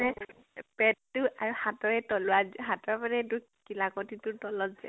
মানে পেটটো আৰু হাতৰ এই তলোৱাত, হাতৰ মানে এইটো কিলাকতিটোৰ তলত যে